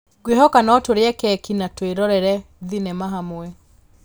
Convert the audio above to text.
Ngwĩhoka no tũrĩe keki na twĩrorere thenema hamwe